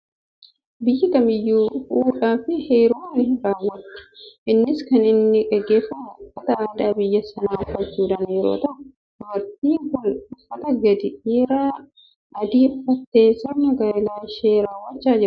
Biyyi kamiiyyuu fuudhaa fi heeruma ni raawwatti. Innis kan inni gaggeeffamu uffata aadaa biyya sanaa uffachuudhaan yeroo ta'u, dubartiin kun uffata gadi dheeraa adii uffattee sirna gaa'ela ishii raawwachaa jirti.